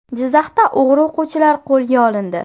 Jizzaxda o‘g‘ri o‘quvchilar qo‘lga olindi.